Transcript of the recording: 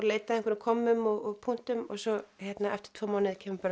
leita að einhverjum kommum og punktum og svo eftir tvo mánuði kemur bara